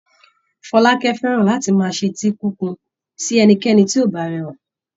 Fọlákẹ́ fẹ́ràn láti máa ṣetí kíkun sí ẹnikẹ́ni tí kò bá rẹwà.